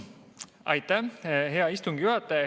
Aitäh, hea istungi juhataja!